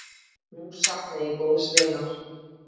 Nú sakna ég góðs vinar.